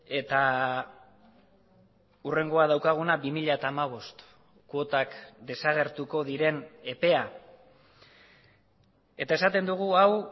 eta hurrengoa daukaguna bi mila hamabost kuotak desagertuko diren epea eta esaten dugu hau